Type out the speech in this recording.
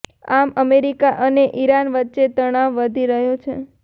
આમ અમેરિકા અને ઇરાન વચ્ચે તણાવ વધી રહ્યો છે